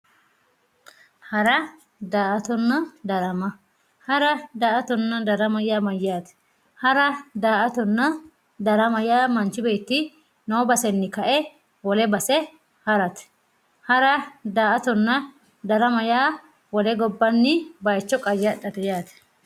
hara daa"atanna darama yaa mayyaate hara daa"atanna darama yaa manchi beetti noo basenni ka"e wole base harate hara daa"atanna darama yaa wole gobbanni bayiicho qayyadhate yaate.